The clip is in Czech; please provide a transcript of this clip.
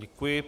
Děkuji.